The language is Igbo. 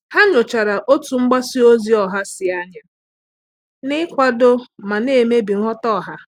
Há nyòchàrà otú mgbasa ozi ọha sí ányá n’ị́kwàdò ma nà-èmébi nghọta ọha.